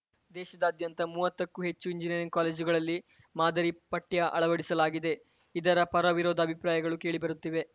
ದೇಶದ್ಯಂತ ಮೂವತ್ತಕ್ಕೂ ಹೆಚ್ಚು ಇಂಜಿನಿಯರಿಂಗ್‌ ಕಾಲೇಜುಗಳಲ್ಲಿ ಮಾದರಿ ಪಠ್ಯ ಅಳವಡಿಸಲಾಗಿದೆ ಇದರ ಪರವಿರೋಧ ಅಭಿಪ್ರಾಯಗಳೂ ಕೇಳಿ ಬರುತ್ತಿವೆ